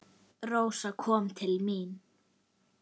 Rósa kom til mín.